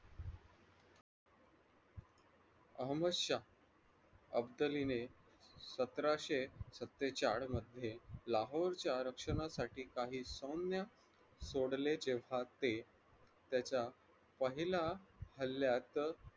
अहमद शाह अफजलीने सतराशे सत्तेचाळ मध्ये लाहोरच्या रक्षणासाठी काही सैन्य सोडले तेव्हा ते त्याच्या पहिल्या हल्यात